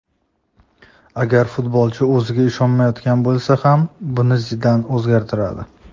Agar futbolchi o‘ziga ishonmayotgan bo‘lsa ham buni Zidan o‘zgartiradi.